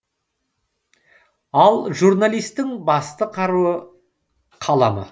ал журналисттің басты қару қаламы